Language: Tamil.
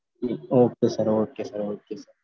okay sir okay sir okay